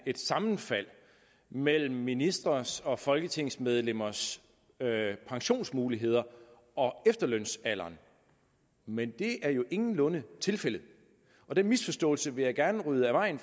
et sammenfald mellem ministres og folketingsmedlemmers pensionsmuligheder og efterlønsalderen men det er jo ingenlunde tilfældet den misforståelse vil jeg gerne rydde af vejen